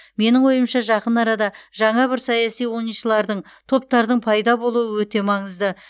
менің ойымша жақын арада жаңа бір саяси ойыншылардың топтардың пайда болуы өте маңызды